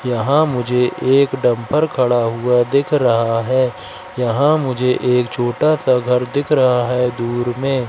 यहां मुझे एक डंफर खड़ा हुआ दिख रहा है यहां मुझे एक छोटा सा घर दिख रहा है दूर में।